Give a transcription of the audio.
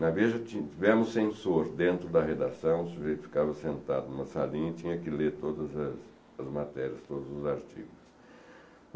Na Veja tivemos censor dentro da redação, o sujeito ficava sentado em uma salinha e tinha que ler todas as matérias, todos os artigos.